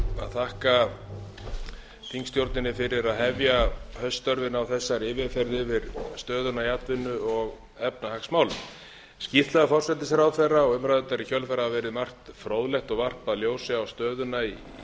þakka þingstjórninni fyrir að hefja hauststörfin á þessari yfirferð yfir stöðuna í atvinnu og efnahagsmálum skýrsla forsætisráðherra og umræðurnar í kjölfarið hafa verið um margt fróðlegt og varpað ljósi á stöðuna í